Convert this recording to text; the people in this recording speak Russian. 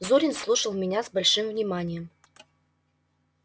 зурин слушал меня с большим вниманием